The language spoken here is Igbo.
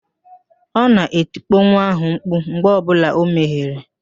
Ọ na-etikpo nwa ahụ mkpu mgbe ọbụla o mehiere